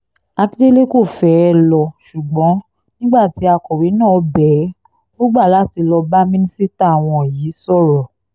akíndélé kò fẹ́ẹ́ lọ ṣùgbọ́n nígbà tí akọ̀wé náà bẹ̀ ẹ́ ò gbà láti lọ́ọ́ bá mínísítà wọn yìí sọ̀rọ̀